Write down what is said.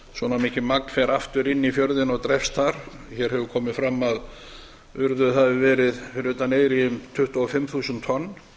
mikið magn fer aftur inn í fjörðinn og drepst þar hér hefur komið fram að urðuð hafa verið fyrir utan eyri um tuttugu og fimm þúsund tonn